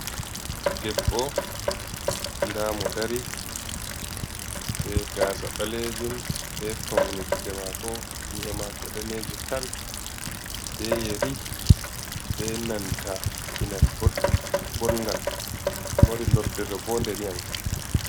Debbo, Ndamo dari be Gasa Ɓalejum, be Paune Gite mako, Nyi’e mako Daneje tal, be Yeri be nanta Kinal Bodɗum, Bongal Mari Lordere Vondeniyan Kam.